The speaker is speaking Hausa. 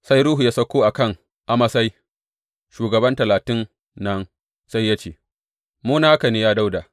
Sai Ruhu ya sauko a kan Amasai, shugaban Talatin nan, sai ya ce, Mu naka ne, ya Dawuda!